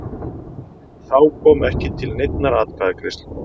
Þá kom ekki til neinnar atkvæðagreiðslu